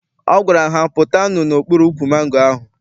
Ọ gwara ha, pụtanụ n'okpuru ukwu mangoro ahụ!